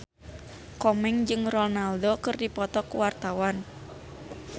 Komeng jeung Ronaldo keur dipoto ku wartawan